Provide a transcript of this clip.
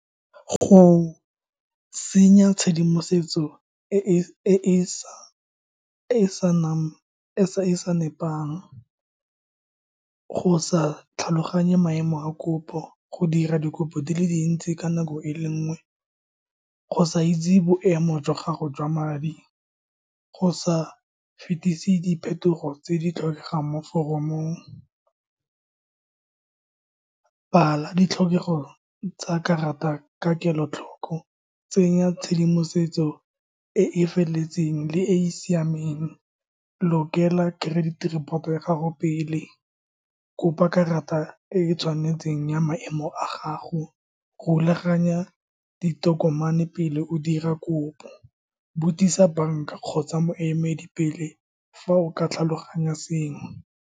Go senya tshedimosetso e e sa nepang, go sa tlhaloganye maemo a kopo, go dira dikopo di le dintsi ka nako e le nngwe, go sa itse boemo jwa gago jwa madi, go sa fetisi diphetogo tse di tlhokegang mo foromong, bala ditlhokego tsa karata ka kelotlhoko. Tsenya tshedimosetso e e feleletseng le e e siameng. Lokela credit report-o ya gago pele, kopa karata e e tshwanetseng ya maemo a gago, rulaganya ditokomane pele o dira kopo. Botsisa banka kgotsa moemedi pele fa o ka tlhaloganya sengwe.